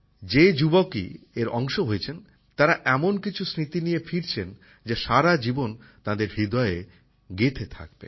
যে যুবকই এর অংশ হয়েছেন তারা এমন কিছু স্মৃতি নিয়ে ফিরছেন যা সারাজীবন তাদের হৃদয়ে গেথে হয়ে থাকবে